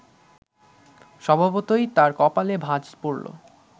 স্বভাবতই তাঁর কপালে ভাঁজ পড়ল